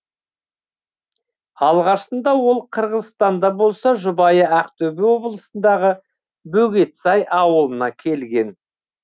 алғашында ол қырғызстанда болса жұбайы ақтөбе облысындағы бөгетсай ауылына келген